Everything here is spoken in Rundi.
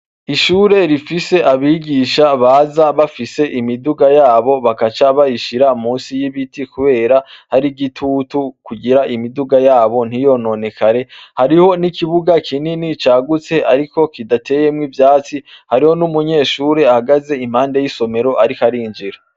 Ishure rifise abigisha baza bafise imiduga yabo bagaca bayishira musi y'igiti kubera har'igitutu kugirz imiduga yabo ntiyononekarehariho n'ikibuga kinini cagutse ariko kidateyemwo ivyatsi, hariho n'umunyeshure ahagaze impande y'isomoro ariko arinjira.